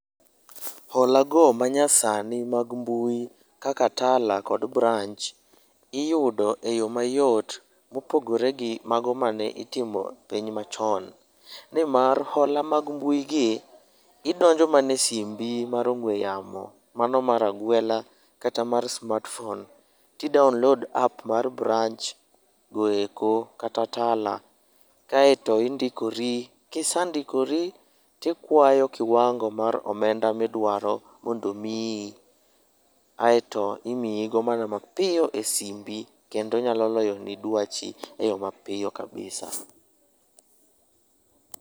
Hola go manyasani mag mbui kaka Tala kod Branch iyudo e yo mayot mopogore gi mago mane itimo e piny machon. Nimar hola mag mbui gi, gidonjo mana e simbi mar ong'ue yamo, mano mar agwela kata mar smartphone to i download app mar Branch goeko kata Tala kaeto indikori. Kisendikori to ikwayo kiwango mar omenda midwaro mondo omiyi, aeto imiyigo mana mapiyo e simbi kendo nyalo loyoni dwachi eyo mapiyo kabisa.